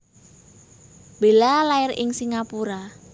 Bella lair ing Singapura